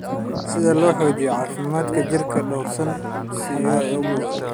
si loo xoojiyo caafimaadka jidhka dhowr siyaabood: